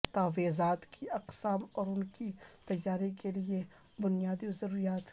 دستاویزات کی اقسام اور ان کی تیاری کے لئے بنیادی ضروریات